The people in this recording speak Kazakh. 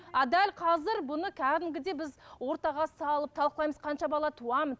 а дәл қазір бұны кәдімгідей біз ортаға салып талқылаймыз қанша бала туамын